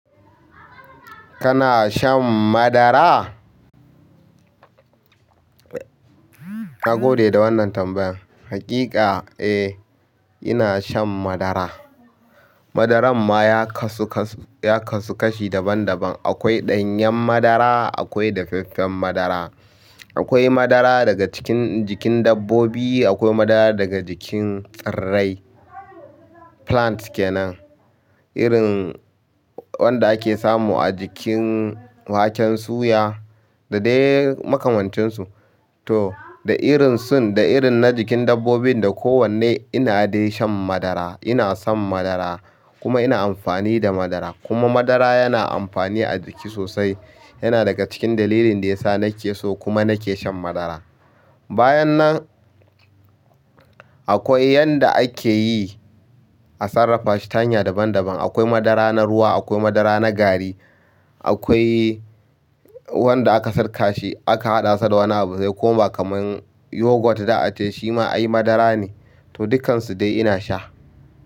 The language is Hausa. Kana shan madara? Na gode da wannan tambayan. Haƙiƙa eh, ina shan madara. Madaran ma ya kasu kashi daban daban. Akwai daffen madara, akwai dafaffen madara, akwai madara daga jikin dabbobi, akwai madara daga jikin tsirrai, plant kenan irin wanda ake samu a jikin waken suya da dai makamantansu. To da irin sun da irin na jikin dabbobin da kowanne ina dai shan madara. Ina son madara kuma ina amfani da madara. Kuma madara yana amfani a jiki sosai. Yana daga cikin dalilin da ya sa nake so kuma nake shan madara. Bayan nan akwai yanda akeyi a sarrafa shi ta hanya daban daban. Akwai madara na ruwa, akwai madara na gari, akwai wanda aka sirka shi aka haɗa sa da wani abu ya koma kaman yogurt za a ce shi ma ai madara ne. To dukkansu dai ina sha.